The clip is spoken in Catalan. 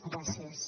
gràcies